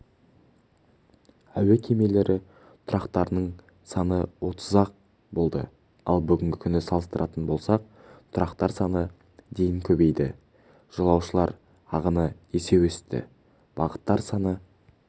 әуе кемелері тұрақтарының саны отыз-ақ болды ал бүгінгі күні салыстыратын болсақ тұрақтар саны дейін көбейді жолаушылар ағыны есе өсті бағыттар саны